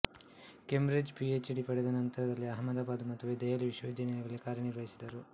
ಕೆಂಬ್ರಿಡ್ಜ್ನಲ್ಲಿ P H D ಪಡೆದ ನಂತರದಲ್ಲಿ ಅಹಮದಾಬಾದ್ ಮತ್ತು ದೆಹಲಿವಿಶ್ವವಿದ್ಯಾಲಯಗಳಲ್ಲಿ ಕಾರ್ಯ ನಿರ್ವಹಿಸಿದರು